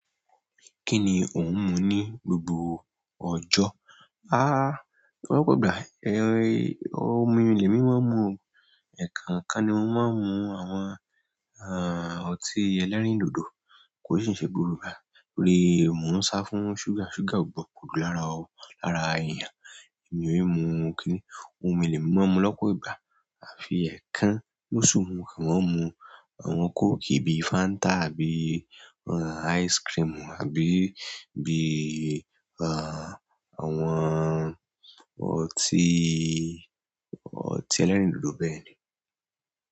Kíni ò ń mu ní gbogbo ọjọ́? Lọ́pọ̀ ìgbà, omi lemi máa ń mu o, ekookan ni mo máa ń mu àwọn ọtí ẹlẹ́rìndòdò, kò sì ń ṣe gbogbo ìgbà toru mo n sa fún suga, suga o gbọdọ po lára eeyan emi ò i mu kíni. Òmí lèmi maa n mu lọ́pọ̀ ìgbà. Àfi ẹ̀ẹ̀kan losu mo kan maa n mu àwọn kóòkì bíi fáńtà àbí, ice cream àbí bí àwọn ọtí ẹlẹ́rìndòdò bẹ́ẹ̀.